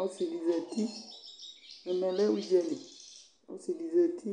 Ɔsɩ di zǝtɩ Ɛmɛ lɛ ʋdzǝli Ɔsɩ di zǝtɩ